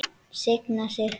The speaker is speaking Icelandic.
Signa sig?